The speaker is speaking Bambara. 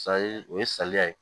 o ye saliya ye